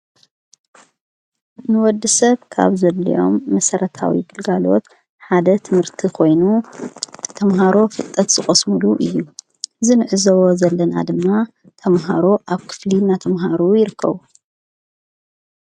ንወዲ ሰብ ካብ ዘልዮም መሠረታዊ ግልጋልዎት ሓደ ትምህርቲ ኾይኑ ተምሃሮ ፍጠት ዝቖስሙሉ እዩ ዝ ንዕዘዎ ዘለናኣ ደምና ተምሃሮ ኣብ ክፍሊ ናተምሃሩ ይርከቡ።